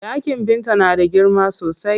Ɗakin Binta na da girma sosai.